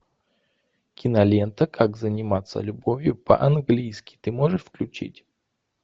кинолента как заниматься любовью по английски ты можешь включить